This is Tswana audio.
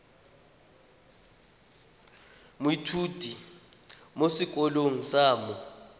moithuti mo sekolong sa mo